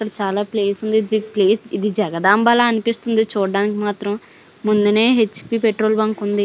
ఇక్కడ చాలా ప్లేస్ ఉంది. ఇది ప్లేస్ ఇది జగదాంబలా అనిపిస్తుంది చూడడానికి మాత్రం ముందనే హెచ్_పి పెట్రోల్ బంక్ ఉంది.